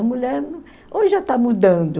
A mulher hoje já está mudando,